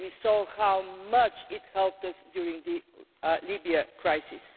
We saw how much it helped us during the Libya crisis.